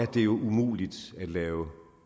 det jo umuligt at lave